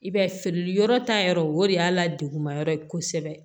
I b'a ye feereli yɔrɔ ta yɔrɔ o de y'a la degun ma yɔrɔ ye kosɛbɛ